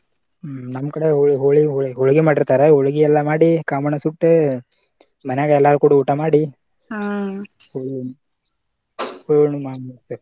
ಹ್ಮ್‌ ನಮ ಕಡೆ ಹೊಳ~ ಹೊಳ~ ಹೊಳ್ಗಿ ಮಾಡಿರ್ತಾರ ಹೊಳ್ಗಿ ಎಲ್ಲಾ ಮಾಡಿ ಕಾಮಣ್ಣ ಸುಟ್ಟ ಮನ್ಯಾಗ ಎಲ್ಲಾರು ಕೂಡಿ ಊಟಾ ಮಾಡಿ ಹ್ಮ್‌ಹೋಳಿ ಹುಣ್ಣಿವಿ ಮಾಡಿ ಮುಗಸ್ತೇವ.